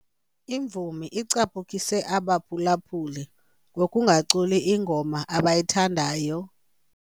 Imvumi icaphukise abaphulaphuli ngokungaculi ingoma abayithandayo.